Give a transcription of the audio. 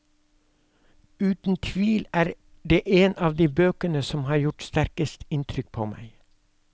Uten tvil er det en av de bøkene som har gjort sterkest inntrykk på meg.